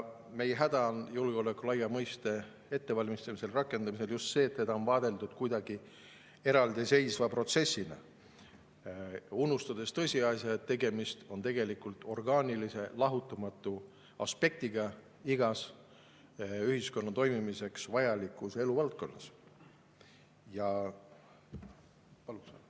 Meie häda julgeoleku laia mõiste rakendamisel on just see, et seda on vaadeldud kuidagi eraldiseisva protsessina, unustades tõsiasja, et tegemist on orgaanilise, igast ühiskonna toimimiseks vajalikust eluvaldkonnast lahutamatu aspektiga.